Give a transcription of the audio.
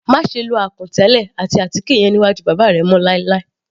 Máṣe lo àkùn tẹ́lẹ̀ àti àtíkè yẹn níwájú bàbá rẹ mọ́ láì láì.